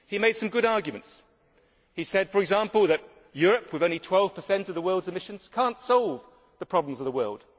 He had some good arguments, saying, for example, that Europe, with only 12 of the world's emissions, cannot solve the problems of the world.